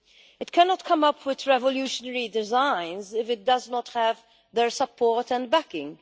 It cannot come up with revolutionary designs if it does not have their support and backing.